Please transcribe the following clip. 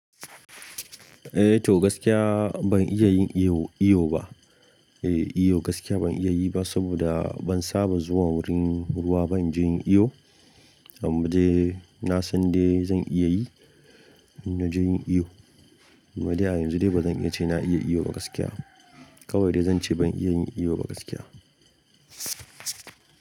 Eh to gaskiya ban iya yin iyo, iyo ba. Eh iyo gaskiya ban iya yi ba saboda ban saba zuwa wurin ruwa ba, banje in yi iyo. Amma dai na san dai zan iya yi, in naje yin iyo. Amma dai a yanzu dai ba zan iya ce na iya iyo ba gaskiya. Kawai dai zan ce ban iya yin iyo ba gaskiya.